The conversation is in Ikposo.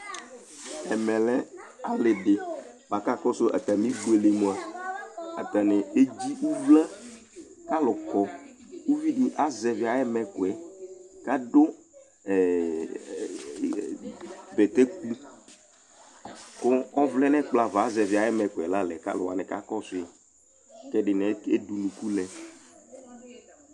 Ɛmɛ lɛ alifɩ bʋakʋ akɔsʋ atamɩfo li mʋa, atanɩ edzi ʋvlǝ Alu akɔ Uvi dɩ azɛvɩ ayʋ ɛmɛkʋ yɛ, kʋ adʋ bɛtɛkʋ, kʋ ɔvlɛ nʋ ɛkplɔ ava Azɛvɩ ayʋ ɛmɛkʋ yɛ la lɛ, kʋ alu wanɩ ka kɔsʋ yɩ, kʋ ɛdɩnɩ ede unuku lɛ